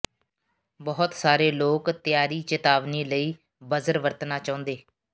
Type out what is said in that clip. ਬਹੁਤ ਸਾਰੇ ਲੋਕ ਤਿਆਰੀ ਚੇਤਾਵਨੀ ਲਈ ਬਜ਼ਰ ਵਰਤਣਾ ਚਾਹੁੰਦੇ